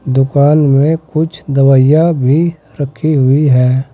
दुकान में कुछ दवाइयां भी रखी हुई है।